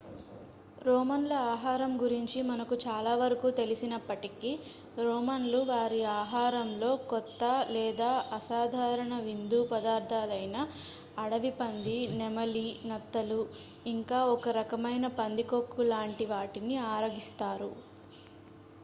రోమన్ల ఆహారం గురించి మనకు చాలా వరకు తెలిసినప్పటికీ రోమన్లు వారి ఆహారంలో కొత్త లేదా అసాధారణ విందు పదార్ధాలైన అడవి పంది నెమలి నత్తలు ఇంకా ఒక రకమైన పందికొక్కు లాంటి వాటిని ఆరగిస్తారు